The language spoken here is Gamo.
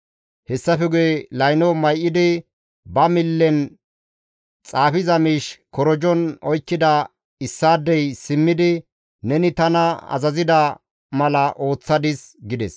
Hessafe guye layno may7idi, ba millen xaafiza miish korojon oykkida issaadey simmidi, «Neni tana azazida mala ooththadis» gides.